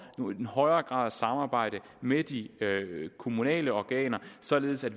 i højere grad at samarbejde med de kommunale organer således at